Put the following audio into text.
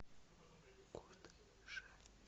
кодже